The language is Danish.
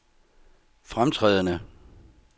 fremtrædende